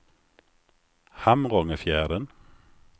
Hamrångefjärden